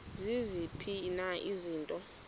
ziziphi na izinto